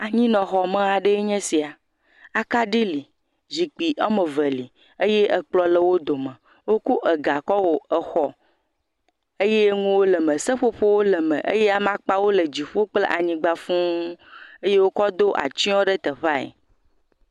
Anyinɔxɔme aɖee nye sia. Akaɖi li, Zikpi ame ve li eye ekplɔ̃ le wo dome. Woko ega kɔ wɔ exɔ eye nuwo le eme, seƒoƒowo le me eye amakpawo le dziƒo kple anyigba fuũ eye wokɔ ɖo atsyɔ̃ teƒea ɛ.